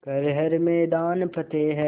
कर हर मैदान फ़तेह